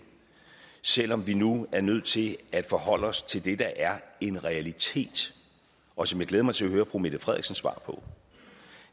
selv om vi nu er nødt til at forholde os til det der er en realitet og som jeg glæder mig til at høre fru mette frederiksens svar på